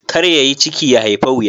Kar ya yi ciki, ya haifa wuya